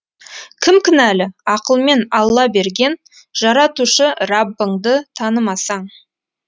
кім кінәлі ақылмен алла берген жаратушы раббыңды танымасаң